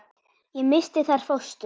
Ég missti þar fóstur.